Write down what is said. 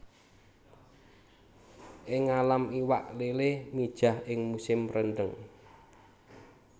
Ing ngalam iwak lélé mijah ing musim rendheng